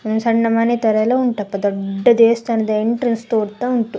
ಒಂದ್ ಸಣ್ಣ್ ಮನೆ ತರ ಎಲ್ಲಾ ಉಂಟಪ್ಪಾ ದೊಡ್ಡದ್ ದೇವಸ್ಥಾನದ್ ಎಂಟ್ರೆನ್ಸ್ ತೋರ್ ತ್ತಾ ಉಂಟು.